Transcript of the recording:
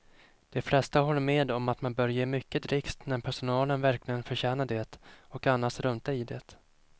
De flesta håller med om att man bör ge mycket dricks när personalen verkligen förtjänar det och annars strunta i det.